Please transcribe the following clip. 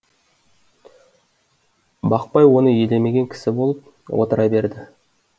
бақпай оны елемеген кісі болып отыра берді